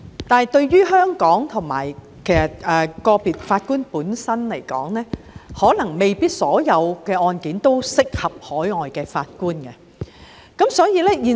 但是，對於香港和個別法官而言，可能未必所有案件均適合海外法官參與。